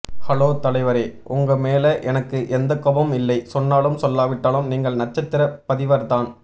hello தலைவரே உங்கமேல எனக்கு எந்த கோபமும் இல்லை சொன்னாலும் சொல்லாவிட்டாலும் நீங்கள் நட்சத்திர பதிவர்தான்